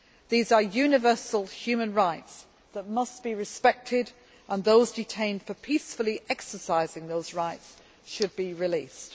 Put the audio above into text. These are universal human rights that must be respected and those detained for peacefully exercising those rights should be released.